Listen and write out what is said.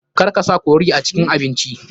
Kar ka sa curry a cikin abinci.